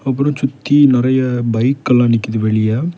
அப்புறம் சுத்தி நெறைய பைக் எல்லா நிக்குது வெளிய.